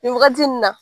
Nin wagati nin na